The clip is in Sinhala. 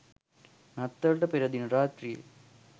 නත්තලට පෙර දින රාත්‍රියේ